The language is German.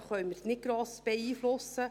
Dies können wir nicht gross beeinflussen.